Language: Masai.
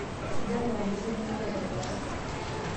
suja irmuranketini linonok aitobiraki